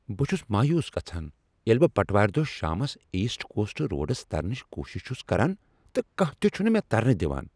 بہٕ چھس مایوس گژھان ییٚلہ بہٕ بٹوار دۄہ شامس ایسٹ کوسٹ روڈس ترنٕچ کوٗشش چھس کران تہٕ کانٛہہ تِہ چھنہٕ مےٚ ترنہٕ دوان۔